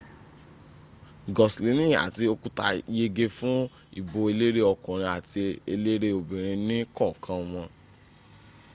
goslini àti okuta yege fún ìbò eléré ọkùnrin àti eléré obinrin ní kọ̀kan wọn